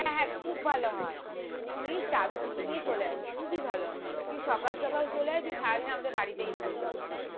হ্যাঁ হ্যাঁ খুব ভালো হয় তুই চাঁদিনীকে নিয়ে চলে আয় খুবই ভালো হয় তুই সকাল সকাল চলে আয় তুই সারাদিন আমাদের বাড়িতেই থাকবি